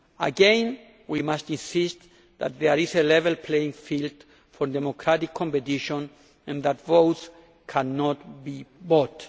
Again we must insist that there is a level playing field for democratic competition and that votes cannot be bought.